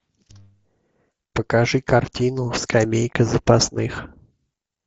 покажи картину скамейка запасных